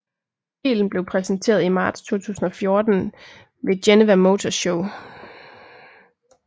Bilen blev præsenteret i marts 2014 ved Geneva Motor Show